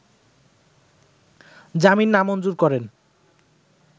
জামিন নামঞ্জুর করেন